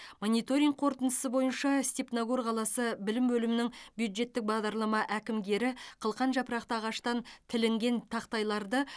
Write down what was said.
мониторинг қорытындысы бойынша степногор қаласы білім бөлімінің бюджеттік бағдарлама әкімгері қылқан жапырақты ағаштан тілінген тақтайларды